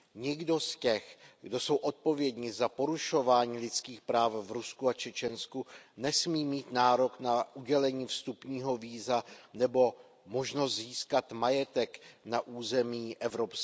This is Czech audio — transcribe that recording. Nikdo z těch, kdo jsou odpovědni za porušování lidských práv v Rusku a Čečensku, nesmí mít nárok na udělení vstupního víza nebo možnost získat majetek na území EU.